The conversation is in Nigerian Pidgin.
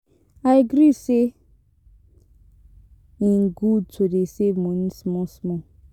I gree say im good to dey save money small small